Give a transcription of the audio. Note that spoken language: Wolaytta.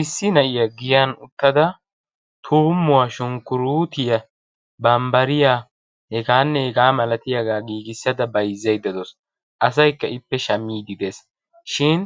issi na'iyaa giyaan uttada tuummuwaa shukuruutiyaa banbbariyaa hegaanne hegaa milatiyaagaa giigisada bayzzaydda de"auwus. asaykka ippe shaammidi de"ees. shin